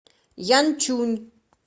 янчунь